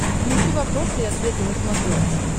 включи вопросы и ответы на смотрешке